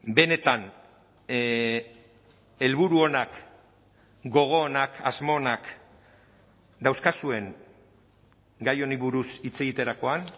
benetan helburu onak gogo onak asmo onak dauzkazuen gai honi buruz hitz egiterakoan